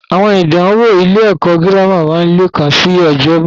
Àwọn ìdánwò ilé ẹ̀kọ́ girama máa leekan sì ni ọjọ́ iwájú.